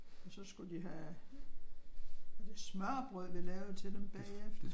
Og så skulle de have var det smørrebrød vi lavede til dem bagefter?